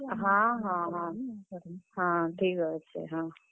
ହଁ ହଁ ହଁ ହଁ, ଠିକ୍ ଅଛେ ହଁ।